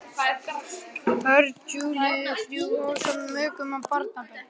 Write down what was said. Börn Júlíu þrjú ásamt mökum og barnabörnum.